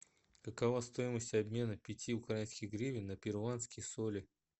какова стоимость обмена пяти украинских гривен на перуанские соли